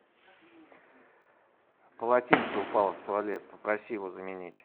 полотенце упало в туалет попроси его заменить